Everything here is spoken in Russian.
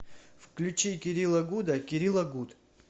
включи кирилла гуда кирилла гуд